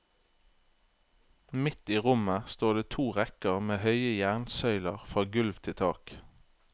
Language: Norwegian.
Midt i rommet står det to rekker med høye jernsøyler fra gulv til tak.